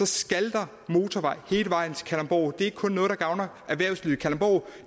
skal der motorvej hele vejen til kalundborg det er ikke kun noget der gavner erhvervslivet i kalundborg